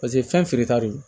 Paseke fɛn feere ta don